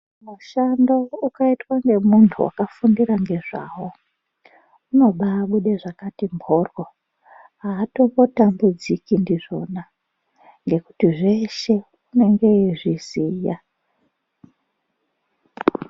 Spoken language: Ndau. Mushando ukaitwa ne muntu waka fundira ngezvawo unobai bude zvakati mboryo hatombo tambudziki ndizvona ngekuti zveshe unenge eyi zviziya.